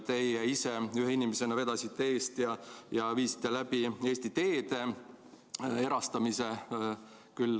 Teie ise ühe inimesena vedasite eest ja viisite läbi Eesti Teede erastamise.